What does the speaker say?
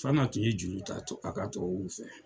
Fana tun ye juru ta tubabuw fɛ.